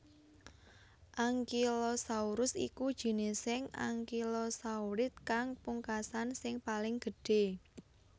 Ankylosaurus iku jinising ankylosaurids kang pungkasan sing paling gedhé